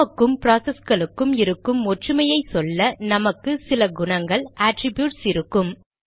நமக்கும் ப்ராசஸ்களுக்கும் இருக்கும் ஒற்றுமையை சொல்ல நமக்கு சில குணங்கள் அட்ரிப்யூட்ஸ் இருக்கும்